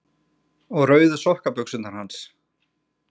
Og rauðu sokkabuxurnar hans?